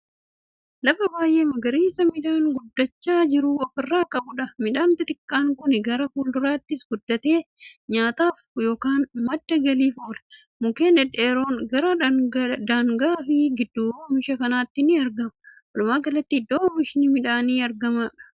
Lafa baay'ee magariisa madhaan guddachaa jiru ofirraa qabuudha. midhaan xixiqqaan Kuni gara fuulduraatti guddateen nyaataaf yookaan madda galiif oola. mukkeen dhedheeroon gara daangaa fi gidduu oomisha kanaatti ni argamu. walumaagalatti iddoo oomishni midhaanii argamuudha.